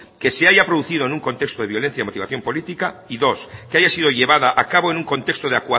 que se haya producido en un contexto de violencia de motivación política y dos que haya sido llevada a cabo en un contexto de